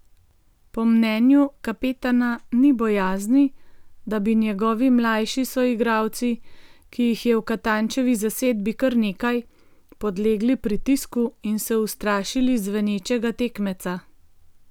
Po mnenju kapetana ni bojazni, da bi njegovi mlajši soigralci, ki jih je v Katančevi zasedbi kar nekaj, podlegli pritisku in se ustrašili zvenečega tekmeca.